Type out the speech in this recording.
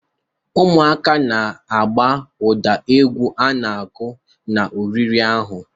Ụmụntakịrị nọ na-agba ụda egwu n'oge oriri ahụ.